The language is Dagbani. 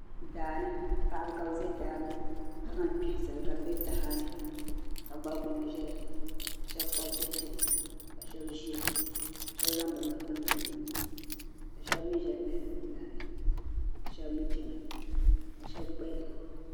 Daani. paɣiba kabibɛ daani ka zaŋ kpuhi zali kadibɛ tahani ka. gbarigbuna zaya k asheb Kpab bihi chana kasheb zaya kasheb zaŋ bi nuhi tumdi di puuni. ka sheb mi zaya lihiri bin yahiri. kashebmi chana. ka shebmi gbaya